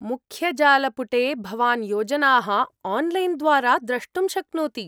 मुख्यजालपुटे भवान् योजनाः आन्लैन् द्वारा द्रष्टुं शक्नोति।